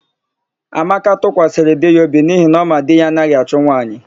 Amaka tụkwasịrị di ya obi n'ihi na ọ ma na di ya anaghị achụ nwaanyị.